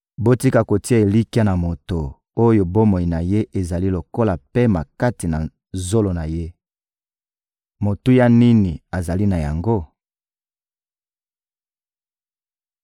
Botika kotia elikya na moto oyo bomoi na ye ezali lokola pema kati na zolo na ye. Motuya nini azali na yango?